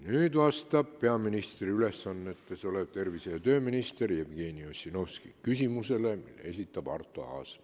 Nüüd vastab peaministri ülesannetes olev tervise- ja tööminister Jevgeni Ossinovski küsimusele, mille esitab Arto Aas.